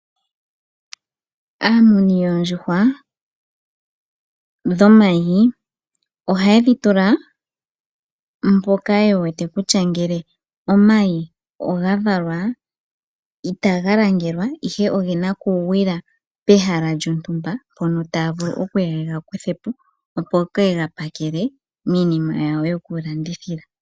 Aamuni yoondjuhwa dhomayi ojaye di tula mpoka ye wete kutya ngele omayi oga valwa itaga langelwa, ihe ogena okugwila pehala lyontumba mpono taya vulu okuya ye ga kuthepo, opo ye ga pakele miinima yawo yokulandithila.